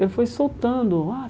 Ele foi soltando. Ah